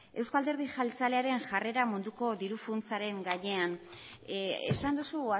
euzko alderdi jeltzalearen jarrera munduko diru funtsaren gainean esan duzu